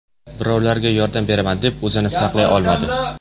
Birovlarga yordam beraman deb o‘zini saqlay olmadi.